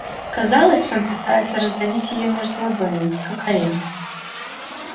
казалось он пытается раздавить её между ладонями как орех